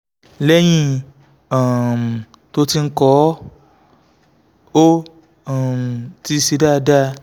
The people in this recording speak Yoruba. lẹ́yìn um tó ti ń kọ́ ọ́ ó um ti ṣe dáadáa